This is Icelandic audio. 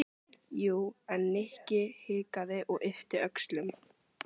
Jú, en. Nikki hikaði og yppti öxlum.